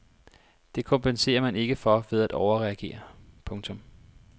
Det kompenserer man ikke for ved at overreagere. punktum